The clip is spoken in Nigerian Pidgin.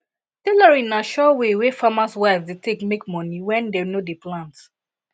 tailoring na sure way wey farmers wives dey take make money when dem no dey plant